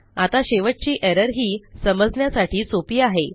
आता शेवटची एरर ही समजण्यासाठी सोपी आहे